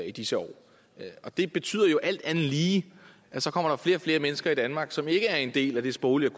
i disse år det betyder alt andet lige at så kommer der flere og flere mennesker i danmark som ikke er en del af det sproglige og